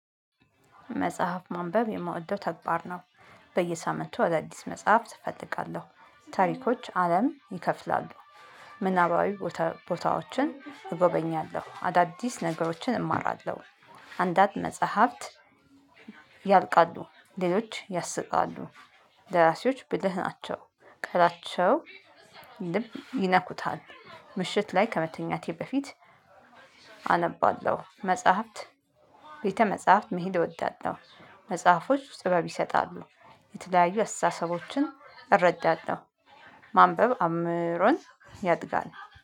መጽሐፍ ማንበብ የምወደው ተግባር ነው። በየሳምንቱ ወደ አዲስ መጽሐፍ እፈልጋለሁ ታሪኮች አለም ይከፍላሉ። ምናባዊ ቦታዎችን እጎበኛለሁ አዳዲስ ነገሮችን እማራለሁ። አንዳንድ መጽሐፍት። ያልቃሉ ሌሎች ያስቃሉ። ደራሲዎች ብልህ ናቸው። ቃላቸው ልብ ይነኩታል። ምሽት ላይ ከመተኛቴ በፊት። አነባለሁ መጽሐፍት ቤተ መጽሐፍት መሄድ እወዳለሁ። መጽሐፎች ጽበብ ይሰጣሉ። የተለያዩ አስተሳሰቦችን እረዳለሁ። ማንበብ አእምሮን ያድጋል